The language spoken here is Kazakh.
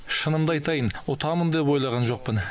шынымды айтайын ұтамын деп ойлаған жоқпын